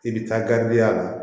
I bɛ taa ya la